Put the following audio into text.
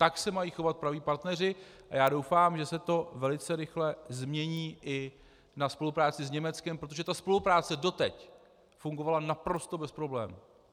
Tak se mají chovat praví partneři a já doufám, že se to velice rychle změní i na spolupráci s Německem, protože ta spolupráce doteď fungovala naprosto bez problémů.